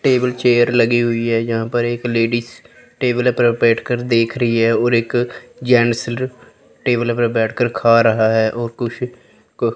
table chair लगी हुई है जहाँ पर एक लेडिस टेबल पर बैठ कर देख रही है और एक जेंस टेबल पर बैठ के खा रहा है और कुछ--